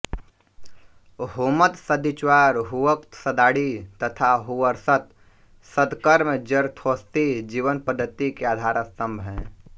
हुमत सद्विचार हुउक्त सद्वाणी तथा हुवर्षत सद्कर्म जरथोस्ती जीवन पद्धति के आधार स्तंभ हैं